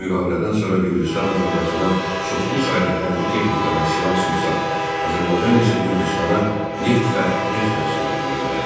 Müqavilədən sonra Gürcüstan Azərbaycana çoxlu sayda hərbi texnika və silah-sursat, Azərbaycan isə Gürcüstana neft və neft məhsulları göndərdi.